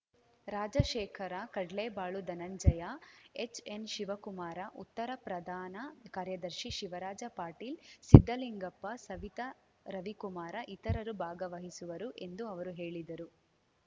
Rajashekhara Kadlebalu Dhananjaya H N Shivakumara ಉತ್ತರ ಪ್ರಧಾನ ಕಾರ್ಯದರ್ಶಿ ಶಿವರಾಜ ಪಾಟೀಲ್‌ ಸಿದ್ದಲಿಂಗಪ್ಪ ಸವಿತಾ ರವಿಕುಮಾರ ಇತರರು ಭಾಗವಹಿಸುವರು ಎಂದು ಅವರು ಹೇಳಿದರು